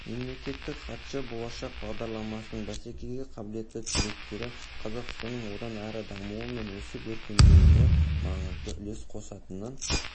мемлекеттік хатшы болашақ бағдарламасының бәсекеге қабілетті түлектері қазақстанның одан әрі дамуы мен өсіп-өркендеуіне маңызды үлес қосатынын